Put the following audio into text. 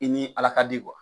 I ni ala ka di kuwa